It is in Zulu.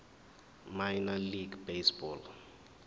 minor league baseball